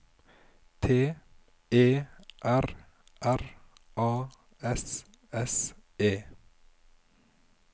T E R R A S S E